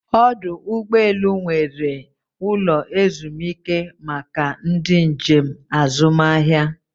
Ọdụ ụgbọ elu nwere ụlọ ezumike maka ndị njem azụmahịa